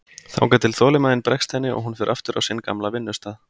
Þangað til þolinmæðin bregst henni og hún fer aftur á sinn gamla vinnustað.